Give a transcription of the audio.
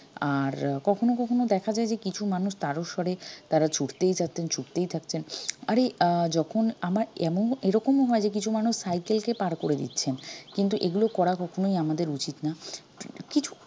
আর কখনো কখনো দেখা যায় যে কিছু মানুষ তারও স্বরে তারা ছুটতেই থাকছেন ছুটতেই থাকছেন আরে আহ যখন আমার এমন এরকমও হয় যে কিছু মানুষ cycle কে পাড় করে দিচ্ছেন কিন্তু এগুলো করা কখনই আমাদের উচিত না কিছৃু